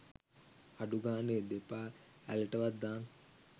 අඩු ගානෙ දෙපා ඇළටවත් දාන්න